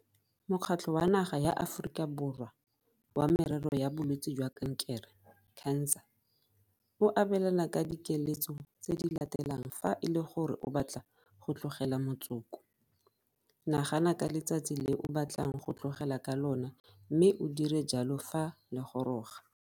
Mokgatlho wa Naga ya Aforika Borwa wa Merero ya Bolwetse jwa Kankere CANSA o abelana ka dikeletso tse di latelang fa e le gore o batla go tlogela motsoko. Nagana ka letsatsi le o batlang go tlogela ka lona mme o dire jalo fa le goroga.